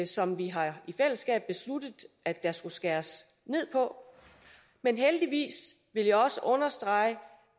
som vi i fællesskab har besluttet at der skal skæres ned på men jeg vil også understrege